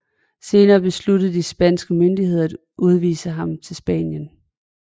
Senere besluttede de spanske myndigheder at udvise ham til Spanien